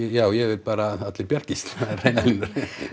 já ég vil bara að allir bjargist það eru hreinar línur en